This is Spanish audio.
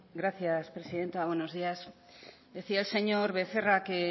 gracias presidenta buenos días decía el señor becerra que